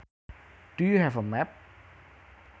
Do you have a map